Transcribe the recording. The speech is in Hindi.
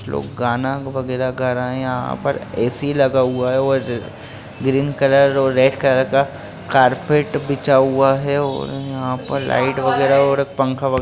लोग गाना वगैरा गा रहे है यहां पर ए.सी. लगा हुआ है और ग्रीन कलर और रेड कलर का कारपेट बिछा हुआ है और यहाँ पर लाइट वगैरा और पंखा वगै --